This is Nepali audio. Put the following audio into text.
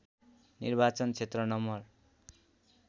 निर्वाचन क्षेत्र नं